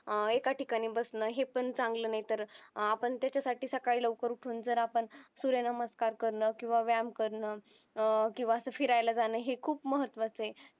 अह एका ठिकाणी बसणं हे पण चांगला नाही तर आह आपण त्याच्यासाठी सकाळी लवकर उठून जर आपण सूर्यनमस्कार करणं किंवा व्यायाम करणं अह किंवा असा फिरायला जाण हे खूप महत्वाचं ये